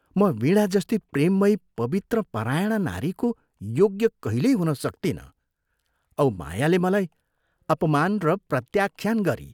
म वीणा जस्ती प्रेममयी पवित्रपरायणा नारीको योग्य कहिल्यै हुन सक्तिनँ औ मायाले मलाई अपमान र प्रत्याख्यान गरी